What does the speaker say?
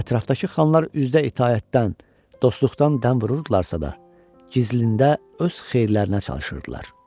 Ətrafdakı xanlar üzdə itaətdən, dostluqdan dəm vururdularsa da, gizlində öz xeyirlərinə çalışırdılar.